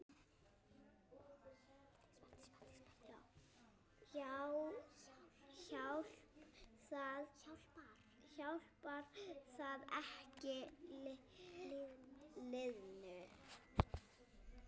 Hjálpar það ekki liðinu?